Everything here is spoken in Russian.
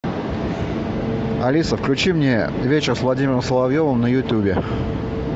алиса включи мне вечер с владимиром соловьевым на ютубе